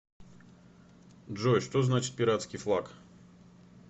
джой что значит пиратский флаг